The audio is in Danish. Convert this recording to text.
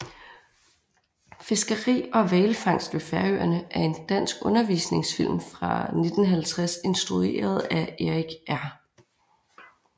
Fiskeri og hvalfangst ved Færøerne er en dansk undervisningsfilm fra 1950 instrueret af Erik R